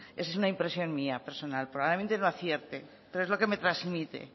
es una impresión mía personal probablemente no acierte pero es lo que me transmite